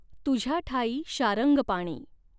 तुझ्या ठायीं शारङ्गपाणी।